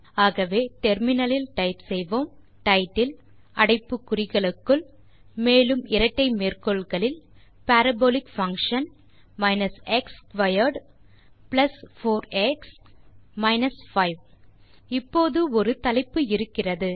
ஆகவே முனையத்தில் டைப் செய்வோம் டைட்டில் அடைப்பு குறிகளுக்குள் மேலும் இரட்டை மேற்கோள் குறிகளில் parabolic function x squared plus 4எக்ஸ் மைனஸ் 5 இப்போது ஒரு தலைப்பு இருக்கிறது